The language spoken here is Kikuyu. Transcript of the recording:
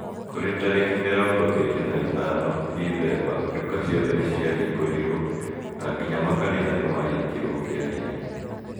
Kũrĩ tariki mirongo iri na ithano, Dicemba, nduka ciothe nĩ ciahingũrirũo na nginya makanitha nĩmahingirwo kĩa hinya.